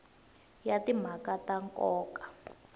ya timhaka ta nkoka a